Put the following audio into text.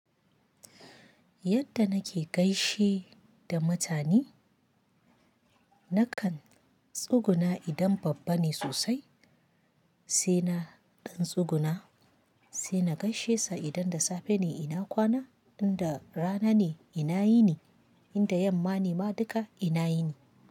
Yadda nake gaishe da mutane, nakan tsuguna idan babba ne sosai, sai na ɗan tsuguna, sai na gaishe sa idan da safe ne ina kwana, in da rana ne ina yini, in da yamma ne ma duka ina yini.